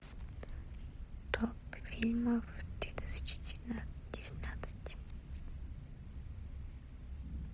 топ фильмов две тысячи девятнадцать